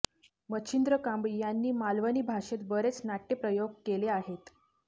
मच्छिंद्र कांबळी यांनी मालवणी भाषेत बरेच नाट्यप्रयोग केले आहेत